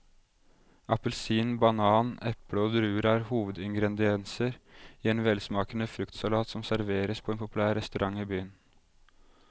Appelsin, banan, eple og druer er hovedingredienser i en velsmakende fruktsalat som serveres på en populær restaurant i byen.